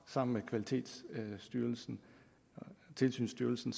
sammen med kvalitets og tilsynsstyrelsen